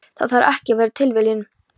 Það þarf ekki að vera tilviljun.